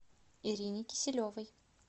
ирине киселевой